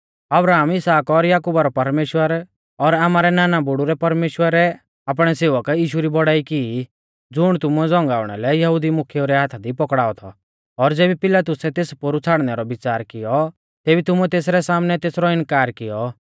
अब्राहम इसहाक और याकुबा रौ परमेश्‍वर और आमारै नाना बुड़ु रै परमेश्‍वरै आपणै सेवक यीशु री बौड़ाई की ज़ुण तुमुऐ झ़ौंगाउणा लै यहुदी मुख्येऊ रै हाथा दी पौकड़ाऔ थौ और ज़ेबी पिलातुसै तेस पोरु छ़ाड़नै रौ विच़ार कियौ तेबी तुमुऐ तेसरै सामनै तेसरौ इनकार कियौ